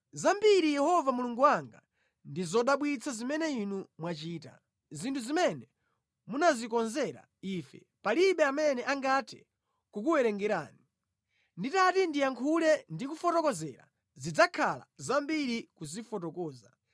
Zambiri, Yehova Mulungu wanga, ndi zodabwitsa zimene Inu mwachita. Zinthu zimene munazikonzera ife palibe amene angathe kukuwerengerani. Nditati ndiyankhule ndi kufotokozera, zidzakhala zambiri kuzifotokoza.